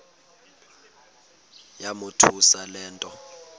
yamothusa le nto